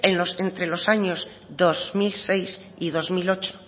entre los años dos mil seis y dos mil ocho